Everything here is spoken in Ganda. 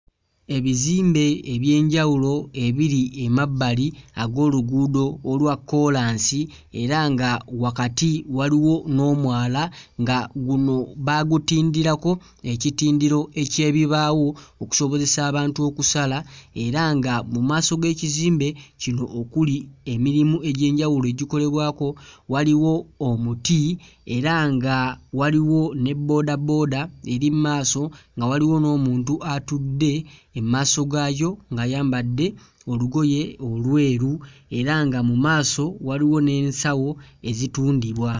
Ebizimbe eby'enjawulo ebiri emabbali ag'oluguudo olwa kkoolansi era nga wakati waliwo n'omwala nga guno baagutindirako ekitindiro eky'ebibaawo okusobozesa abantu okusala era nga mu maaso g'ekizimbe kino okuli emirimu egy'enjawulo egikolebwako waliwo omuti era nga waliwo ne bboodabooda eri mu maaso nga waliwo n'omuntu atudde emmaaso gaayo ng'ayambadde olugoye olweru era nga mu maaso waliwo n'ensawo ezitundibwa.